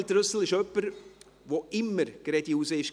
Daniel Trüssel ist jemand, der immer geradeheraus war.